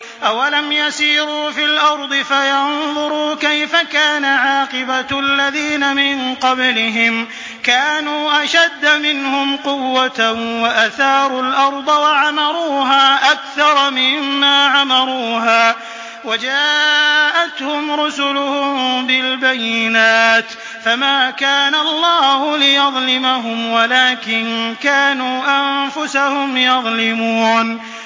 أَوَلَمْ يَسِيرُوا فِي الْأَرْضِ فَيَنظُرُوا كَيْفَ كَانَ عَاقِبَةُ الَّذِينَ مِن قَبْلِهِمْ ۚ كَانُوا أَشَدَّ مِنْهُمْ قُوَّةً وَأَثَارُوا الْأَرْضَ وَعَمَرُوهَا أَكْثَرَ مِمَّا عَمَرُوهَا وَجَاءَتْهُمْ رُسُلُهُم بِالْبَيِّنَاتِ ۖ فَمَا كَانَ اللَّهُ لِيَظْلِمَهُمْ وَلَٰكِن كَانُوا أَنفُسَهُمْ يَظْلِمُونَ